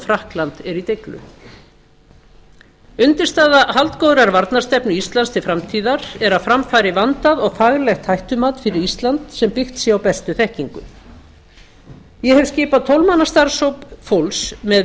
frakkland er í deiglu undirstaða haldgóðrar varnarstefnu íslands til framtíðar er að fram fari vandað og faglegt hættumat fyrir ísland sem byggt sé á bestu þekkingu ég ef skipað tólf manna starfshóp fólks með